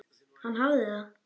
Hann hafði það.